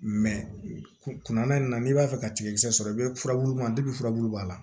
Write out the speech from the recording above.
kunna in na n'i b'a fɛ ka tigakisɛ sɔrɔ i bɛ furabulu ma furabulu b'a la